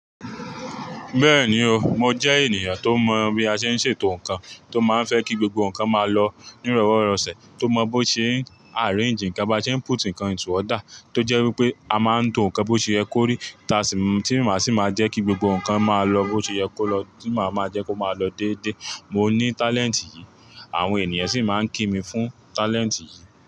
Bẹ́ẹ̀ni o, mo jẹ́ ènìyàn tó mọ̀ bí a ṣe ń ṣètò nǹkan, tó máa ń fẹ́ kí gbogbo nǹkan máa lọ ní roworosẹ̀, tó mọ̀ bó ṣe ń arrange nǹkan, bá ṣe ń input nǹkan into order, tó jẹ́ wípé a máa ń tò nǹkan bó ṣe yẹ kó rí, tí màá sì máa jẹ́ kí gbogbo nǹkan máa lọ bó ṣe yẹ kó lọ, tí màá máa jẹ́ kó máa lọ déédé. Mo ní talent yìí, àwọn ènìyàn sì máa ń kí mi fún talent yìí.